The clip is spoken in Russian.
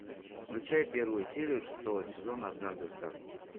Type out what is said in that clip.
включай первую серию шестого сезона однажды в сказке